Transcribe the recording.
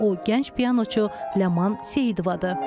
O gənc pianoçu Ləman Seyidovadır.